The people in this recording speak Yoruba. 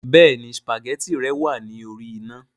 Béèni spaghetti rẹ wàá lórí iná